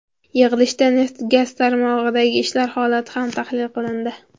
Yig‘ilishda neft-gaz tarmog‘idagi ishlar holati ham tahlil qilindi.